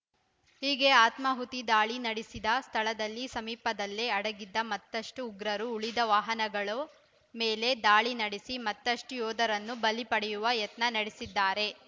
ಹೀಗೆ ಆತ್ಮಾಹುತಿ ದಾಳಿ ನಡೆಸಿದ ಸ್ಥಳದ ಸಮೀಪದಲ್ಲೇ ಅಡಗಿದ್ದ ಮತ್ತಷ್ಟುಉಗ್ರರು ಉಳಿದ ವಾಹನಗಳು ಮೇಲೆ ದಾಳಿ ನಡೆಸಿ ಮತ್ತಷ್ಟುಯೋಧರನ್ನು ಬಲಿ ಪಡೆಯುವ ಯತ್ನ ನಡೆಸಿದ್ದಾರೆ